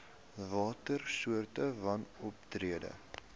watter soorte wanoptrede